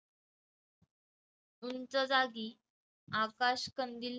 उंच जागी आकाशकंदिल